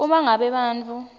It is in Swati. uma ngabe bantfu